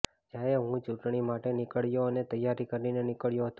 જ્યારે હું ચૂંટણી માટે નિકળ્યો અને તૈયારી કરીને નિકળ્યો હતો